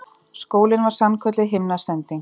Skólinn var sannkölluð himnasending.